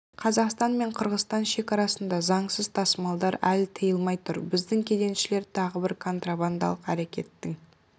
қазақстан мен қырғызстан шекарасында заңсыз тасымалдар әлі тиылмай тұр біздің кеденшілер тағы бір контрабандалық әрекеттің